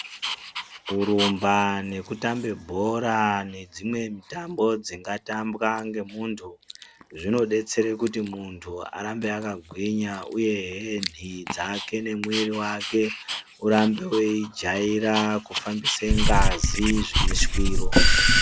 Kurumba neku tambe bhora nedzimwe mitambo dzinga tambwa nge muntu zvino detsere kuti muntu arambe aka gwinya uyehe nhii dzake ne mwiri wake urambe wei jaira kufambise ngazi zvine shwiro.